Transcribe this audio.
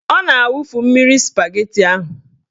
Ọ na-awufu mmiri spageti ahụ.